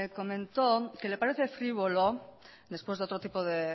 comentó que le parece frívolo después de otro tipo de